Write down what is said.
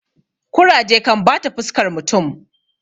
kuraje kan bata fuskar mutum